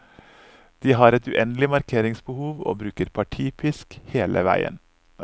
De har et uendelig markeringsbehov, og bruker partipisk hele veien.